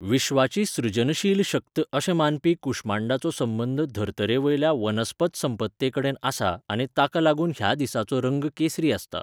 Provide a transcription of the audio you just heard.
विश्वाची सृजनशील शक्त अशें मानपी कुश्मांडाचो संबंद धर्तरेवयल्या वनस्पत संपत्तेकडेन आसा आनी ताका लागून ह्या दिसाचो रंग केसरी आसता.